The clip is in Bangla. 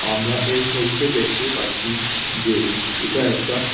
আমরা এই ছবিতে দেখতে পাচ্ছি যে এটা একটা--